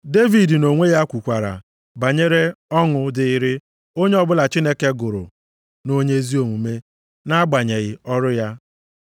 Devid nʼonwe ya kwukwara banyere ọṅụ dịịrị onye ọbụla Chineke gụrụ nʼonye ezi omume nʼagbanyeghị ọrụ ya.